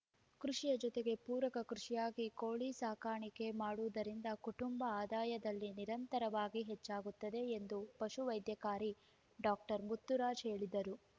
ಕೃಷಿಯ ಜೊತೆಗೆ ಪೂರಕ ಕೃಷಿಯಾಗಿ ಕೋಳಿ ಸಾಕಾಣಿಕೆ ಮಾಡುವುದರಿಂದ ಕುಟುಂಬ ಆದಾಯದಲ್ಲಿ ನಿರಂತರವಾಗಿ ಹೆಚ್ಚಾಗುತ್ತದೆ ಎಂದು ಪಶು ವೈದ್ಯಾಧಿಕಾರಿ ಡಾಕ್ಟರ್ ಮುತ್ತುರಾಜ್‌ ಹೇಳಿದರು